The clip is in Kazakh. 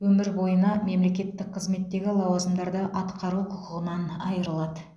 өмір бойына мемлекеттік қызметтегі лауазымдарды атқару құқығынан айырылады